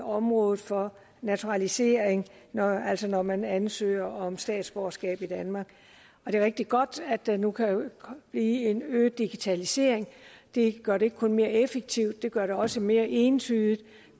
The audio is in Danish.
området for naturalisering altså når man ansøger om statsborgerskab i danmark og det er rigtig godt at der nu kan blive en øget digitalisering det gør det ikke kun mere effektivt det gør det også mere entydigt